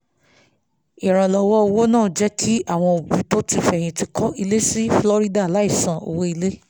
ìrànlọ́wọ́ owó náà jẹ́ kí àwọn òbí tó ti fẹyìntì kó ilé ní florida láì san owó ilé